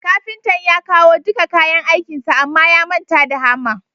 Kafintan ya kawo dika kayan aikinsa Amma ya manta da hamma